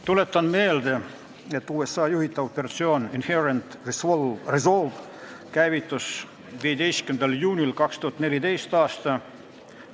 Tuletan meelde, et USA juhitav operatsioon Inherent Resolve käivitus 15. juunil 2014. aastal.